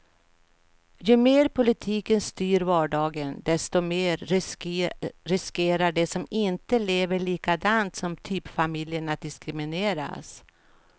Ju mer politiken styr vardagen, desto mer riskerar de som inte lever likadant som typfamiljen att diskrimineras.